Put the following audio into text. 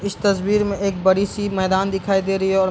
इस तस्वीर में एक बड़ी-सी मैदान दिखाई दे रही है औ --